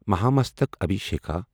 Mahamastakabhisheka